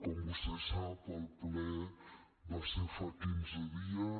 com vostè sap el ple va ser fa quinze dies